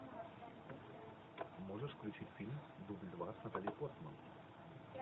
можешь включить фильм дубль два с натали портман